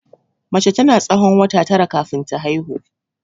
Mace tana tsawon wata tara kafin ta haihu.